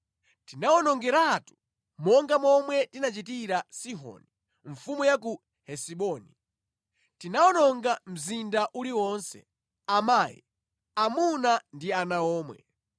Tinawawonongeratu monga momwe tinachitira Sihoni, mfumu ya ku Hesiboni. Tinawononga mzinda uliwonse, amayi, amuna ndi ana omwe.